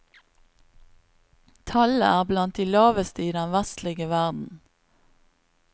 Tallet er blant de laveste i den vestlige verden.